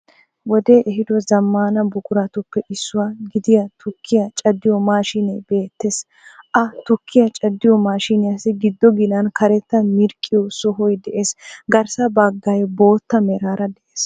Wodee ehiiddo zammana buqquratuppe issuwa gidiya tukkiya caddiyo mashinee beettees. Ha tukkiya caddiyo mashshiniyassi giddo ginan karetta mirqqiyo sohoy de'ees, garssa baggay bootta meraara de'ees.